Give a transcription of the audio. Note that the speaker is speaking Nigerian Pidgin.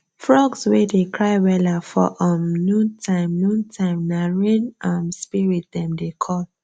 frogs wey dey cry wella for um noon time noon time nah rain um spirit dem dey call